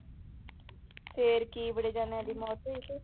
ਫਿਰ ਕੀ ਬੜੇ ਜਾਣਿਆਂ ਦੀ ਮੌਤ ਹੋਈ ਫਿਰ।